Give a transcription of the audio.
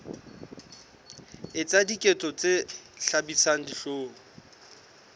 etsa diketso tse hlabisang dihlong